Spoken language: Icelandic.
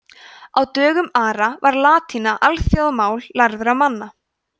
á dögum ara var latína alþjóðamál lærðra manna